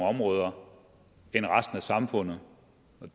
områder end resten af samfundet